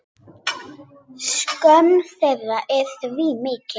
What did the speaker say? Skömm þeirra er því mikil.